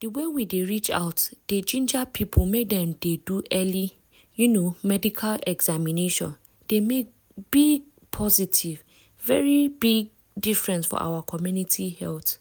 di way we dey reach out dey ginger people make dem dey do early um medical examination dey make big positive um difference for our community health.